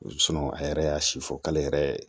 a yɛrɛ y'a si fɔ k'ale yɛrɛ